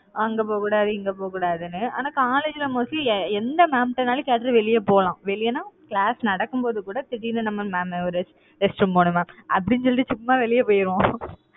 அங்க போகக் கூடாது, இங்க போக்கூடாதுன்னு, ஆனா college ல mostly எந்த mam ட்டனாலும் கேட்டதும் வெளிய போலாம். வெளியன்னா class நடக்கும் போது கூட, திடீர்ன்னு நம்ம ஒரு restroom போனும் madam அப்படின்னு சொல்லிட்டு, சும்மா வெளியே போயிடுவோம்